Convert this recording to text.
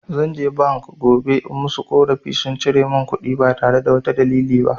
Zan je bank gobe in musu ƙorafi, sun cire mun kuɗi ba tare da wata dalili ba.